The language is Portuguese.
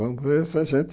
Vamos ver se a gente...